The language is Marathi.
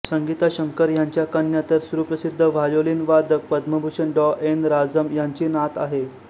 संगीता शंकर ह्यांच्या कन्या तर सुप्रसिद्ध व्हायोलिन वादक पद्मभूषण डॉ एन राजम ह्यांची नात आहेत